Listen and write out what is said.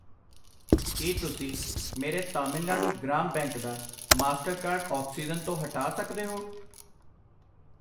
ਕਿ ਤੁਸੀਂ ਮੇਰੇ ਤਾਮਿਲਨਾਡੂ ਗ੍ਰਾਮ ਬੈਂਕ ਦਾ ਮਾਸਟਰਕਾਰਡ ਆਕਸੀਜਨ ਤੋਂ ਹਟਾ ਸਕਦੇ ਹੋ ?